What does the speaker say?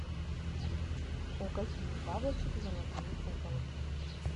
у каких бабочек золотые куколки